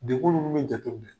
Degun ninnu bɛ jate minɛ